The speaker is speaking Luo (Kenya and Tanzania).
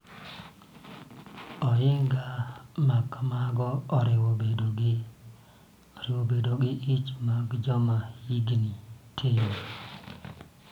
Ohinga ma kamago oriwo bedo gi ich mag joma hikgi tin,